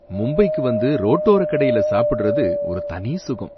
மும்பைக்கு வந்து ரோட்டோர கடையில சாப்பிடுறது ஒரு தனி சுகம்.